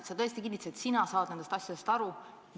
Sa tõesti kinnitasid, et sina saad nendest asjadest aru.